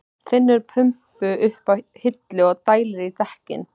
Finnur pumpu uppi á hillu og dælir í dekkin.